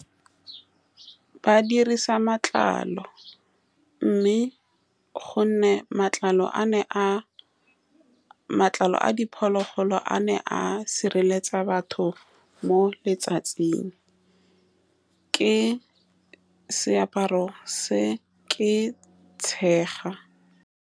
Ba dirisa matlalo, mme ka gonne matlalo a ne a matlalo a diphologolo, a ne a sireletsa batho mo letsatsing. Ke seaparo se ke tshega.